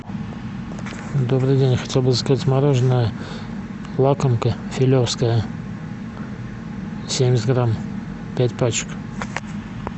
добрый день хотел бы заказать мороженое лакомка филевское семьдесят грамм пять пачек